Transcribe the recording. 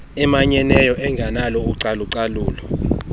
emanyeneyo engenalo ucalulo